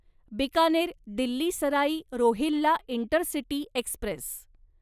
Bikaner Delhi Sarai Rohilla intercity Express